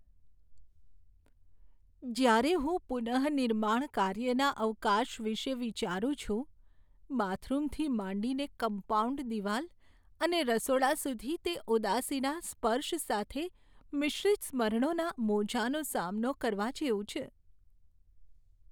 જ્યારે હું પુનઃનિર્માણ કાર્યના અવકાશ વિશે વિચારું છું, બાથરૂમથી માંડીને કમ્પાઉન્ડ દિવાલ અને રસોડા સુધી તે ઉદાસીના સ્પર્શ સાથે મિશ્રિત સ્મરણોના મોજાંનો સામનો કરવા જેવું છે.